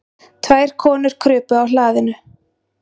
Tvær konur krupu á hlaðinu.